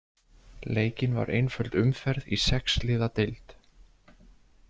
Leikin var einföld umferð í sex liða deild.